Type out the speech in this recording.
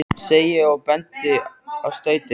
segi ég og bendi á stautinn.